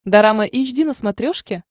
дорама эйч ди на смотрешке